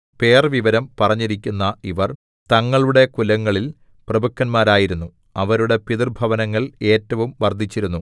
പേർവിവരം പറഞ്ഞിരിക്കുന്ന ഇവർ തങ്ങളുടെ കുലങ്ങളിൽ പ്രഭുക്കന്മാരായിരുന്നു അവരുടെ പിതൃഭവനങ്ങൾ ഏറ്റവും വർദ്ധിച്ചിരുന്നു